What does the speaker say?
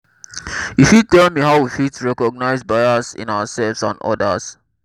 you fit tell me how we fit recognize bias in ourselves and odas?